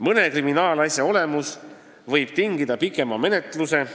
Mõne kriminaalasja olemus võib tingida pikema menetluse.